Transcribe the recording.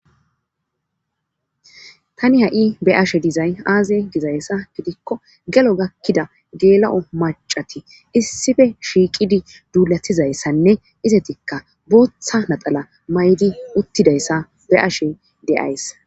tani ha7i be'ashe dizay aaze dizayssa gidikko gelo gakkida geela7o macati issife shiiqidi duulatizayssanne izetikka booththa naxala maydi uttidayssa be'ashe de'ays